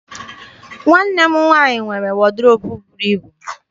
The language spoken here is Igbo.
Nwanne m nwaanyị nwere wọdrobụ buru ibu.